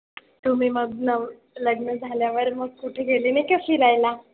तुम्ही मग नवं लग्न झाल्यावर मग कुठे गेलेले का फिरायला?